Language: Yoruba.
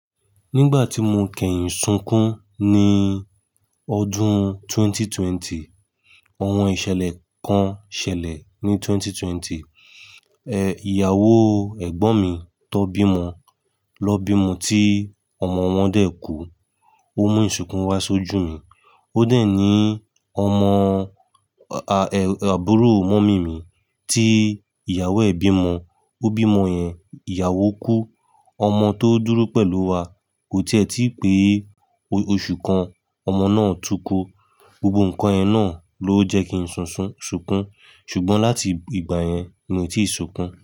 Nígbà tí mo kẹyìn sunkún ní ọdún ẹgbẹ̀rún méjì ó lé ogún, ohun ìṣẹ̀lẹ̀ kan ṣẹlẹ̀ ní ẹgbẹ̀rún méjì ó lé ogún. Ẹ, ìyàwó ẹ̀gbọ́n mi tó bímọ ló bímọ tí ọmọ wọn dẹ́ kú. Ó mú ìsìnkú wá ṣojú mi. Ó dẹ̀ ní ọmọ a, à, àbúrò mọ́mì mi tí ìyàwó ẹ́ bímọ, ó bímọ yẹn, ìyàwó kú, ọmọ tó dúró pẹ̀lú wa kò tí ẹ̀ tí ì pé oṣù kan, ọmọ náà túkú. Gbogbo nǹkan ẹ náà ló jẹ́ kí n ṣunṣun sunkún, ṣùgbọ́n láti ìgbà yẹn ni mo tíì sunkún.